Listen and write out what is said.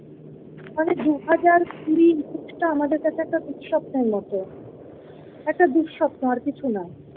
আরে দু হাজার কুড়ি ইন্ডেক্স টা আমাদের কাছে একটা দূর স্বপ্নের মতো একটা দুরসপ্ন আর কিছু না ।